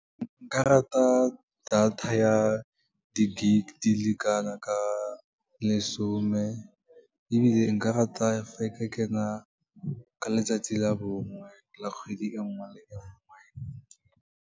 Nka rata data ya di-gig di le kana ka lesome, ebile nka rata fa e ka kena ka letsatsi la bongwe la kgwedi e nngwe le e nngwe.